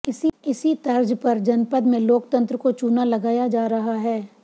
इसी तर्ज पर जनपद में लोकतन्त्र को चूना लगाया जा रहा है